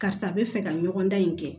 Karisa bɛ fɛ ka ɲɔgɔndan in kɛ